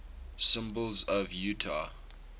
symbols of utah